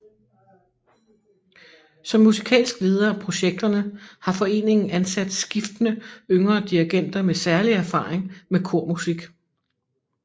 Som musikalsk leder af projekterne har foreningen ansat skiftende yngre dirigenter med særlig erfaring med kormusik